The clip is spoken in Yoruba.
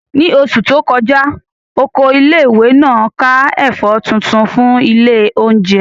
Ní oṣù tó kọjá, Oko ilé ìwé náà ká ẹ̀fọ́ tuntun fún ilé oúnjẹ